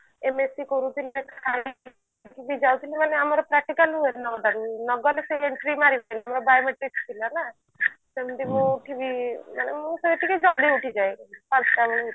MAC କରୁଥିଲି ଯାଉଥିଲି ମାନେ ଆମର practical ହୁଏ ନଅଟା ରୁ ନଗଲେ ସେ entry ମାରିବେନି mobile ରେ fix ଥିଲା ନା ସେମତି ମୁଁ ଉଠିକି ମାନେ ମୁଁ ବି ଜଲ୍ଦି ଉଠି ଯାଏ ପାଞ୍ଚଟା ବେଳେ